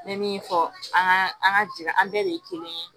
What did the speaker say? N bɛ min fɔ an ka an ka jɛn an bɛɛ de ye kelen ye